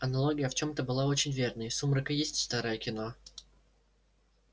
аналогия в чем-то была очень верной сумрак и есть старое кино